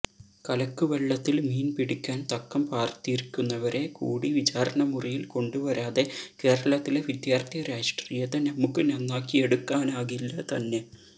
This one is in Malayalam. കലക്കുവെള്ളത്തില് മീന് പിടിക്കാന് തക്കം പാര്ത്തിരിക്കുന്നവരെ കൂടി വിചാരണമുറിയില് കൊണ്ടുവരാതെ കേരളത്തിലെ വിദ്യാര്ഥി രാഷ്ട്രീയത്തെ നമുക്ക് നന്നാക്കിയെടുക്കാനാകില്ല തന്നെ